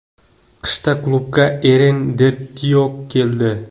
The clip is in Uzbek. Qishda klubga Eren Derdiyok keldi.